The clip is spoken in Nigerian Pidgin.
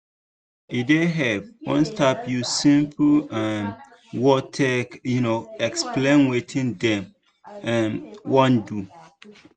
e dey help when staff use simple um words take um explain wetin dem um wan do.